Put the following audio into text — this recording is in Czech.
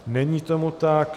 Není tomu tak.